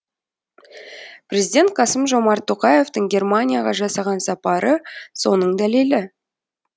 президент қасым жомарт тоқаевтың германияға жасаған сапары соның дәлелі